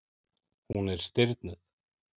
Hún er stirðnuð.